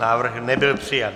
Návrh nebyl přijat.